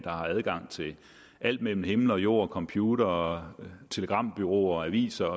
adgang til alt mellem himmel og jord computere telegrambureauer aviser